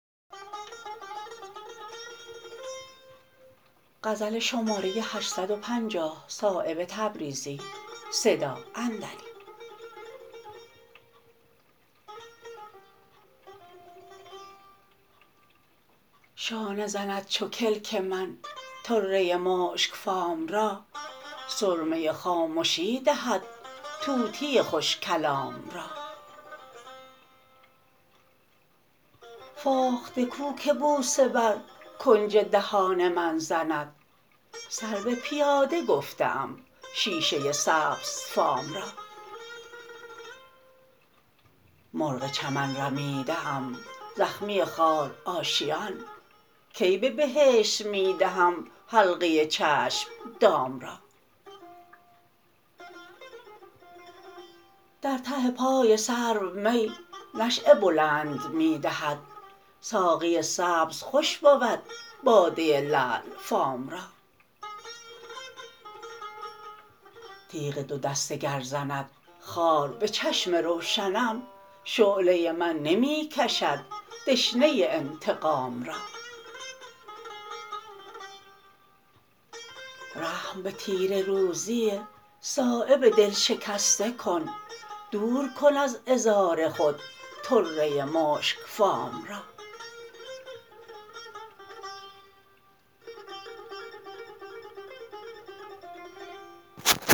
شانه زند چو کلک من طره مشکفام را سرمه خامشی دهد طوطی خوش کلام را فاخته کو که بوسه بر کنج دهان من زند سرو پیاده گفته ام شیشه سبز فام را مرغ چمن رمیده ام زخمی خار آشیان کی به بهشت می دهم حلقه چشم دام را در ته پای سرو می نشأه بلند می دهد ساقی سبز خوش بود باده لعل فام را تیغ دو دسته گر زند خار به چشم روشنم شعله من نمی کشد دشنه انتقام را رحم به تیره روزی صایب دلشکسته کن دور کن از عذار خود طره مشکفام را